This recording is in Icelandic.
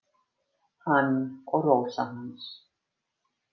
Hann og Rósa hans.